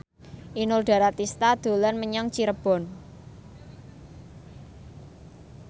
Inul Daratista dolan menyang Cirebon